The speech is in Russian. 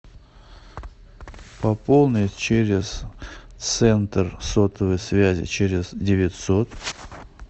пополнить через центр сотовой связи через девятьсот